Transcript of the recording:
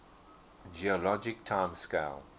geologic time scale